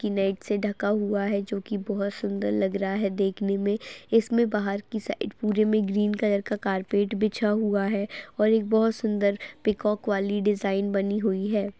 से ढका हुआ है जो कि बहुत सुंदर लग रहा है देखने मे इसमें बाहर की साइड पूरे में ग्रीन कलर का कारपेट बिछा हुआ है और एक बहुत सुंदर पीकॉक वाली डिज़ाइन बनी हुई है।